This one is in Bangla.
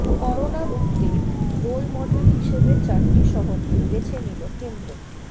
করোনা রুখতে রোলমডেল হিসেবে চারটি শহরকে বেছে নিল কেন্দ্র